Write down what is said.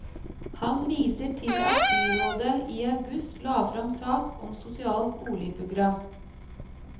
Han viser til at byrådet i august la frem sak om sosialt boligprogram.